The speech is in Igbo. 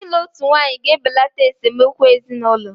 Ịlụ otu nwaanyị ga-ebelata esemokwu ezinụlọ.